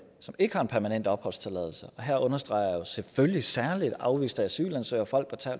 som ikke har en permanent opholdstilladelse og her understreger jeg selvfølgelig særlig afviste asylansøgere folk